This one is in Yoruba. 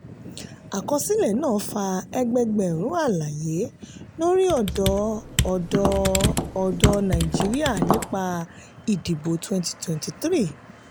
àkọsílẹ̀ náà fa ẹgbẹẹgbẹ̀rún àlàyé láti ọdọ́ ọ̀dọ́ ọ̀dọ́ nàìjíríà nípa ìdìbò twwnty twenty three.